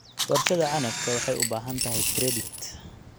Warshada canabka waxay u baahantahay credit.